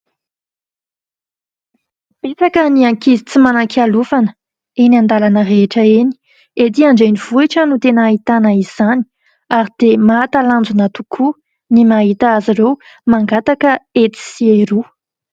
Betsaka ny ankizy tsy manan-kialofana eny an-dalana rehetra eny. Ety andrenivohitra no tena ahitana izany ary dia mahatalanjona tokoa ny mahita azy ireo mangataka etsy sy eroa.